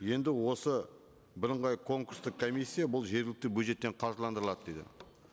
енді осы бірыңғай конкурстық комиссия бұл жергілікті бюджеттен қаржыландырылады дейді